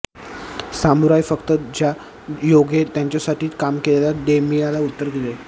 samurai फक्त ज्यायोगे त्यांच्यासाठी काम केलेल्या डेमयीला उत्तर दिले